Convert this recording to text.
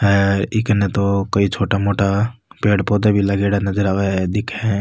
अ ई काने तो कई छोटा मोटा पेड़ पौधा भी लगेडा नजर आवे है दिखे है।